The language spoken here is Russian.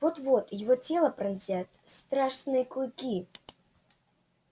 вот-вот его тело пронзят страшные клыки